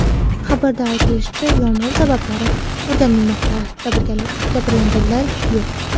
Xabarda aytilishicha, yong‘in sabablari o‘rganilmoqda, jabrlanganlar yo‘q.